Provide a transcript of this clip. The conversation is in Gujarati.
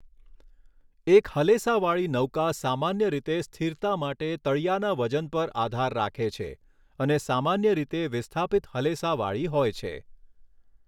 એક હલેસાવાળી નૌકા સામાન્ય રીતે સ્થિરતા માટે તળીયાના વજન પર આધાર રાખે છે અને સામાન્ય રીતે વિસ્થાપિત હલેસાવાળી હોય છે.